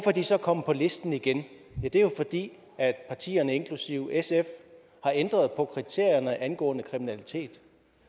er de så kommet på listen igen det er jo fordi partierne inklusive sf har ændret på kriterierne angående kriminalitet